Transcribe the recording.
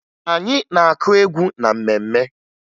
Anyị na-akụ egwu na mmemme